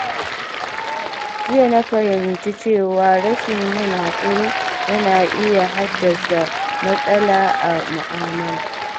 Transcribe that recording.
Jiya na fahimci cewa rashin yin haƙuri yana iya haddasa matsala a mu'amala.